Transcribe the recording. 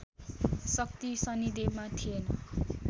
शक्ति शनिदेवमा थिएन